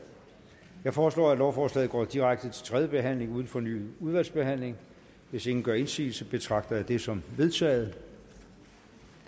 jeg foreslår at lovforslaget går direkte til tredje behandling uden fornyet udvalgsbehandling hvis ingen gør indsigelse betragter jeg det som vedtaget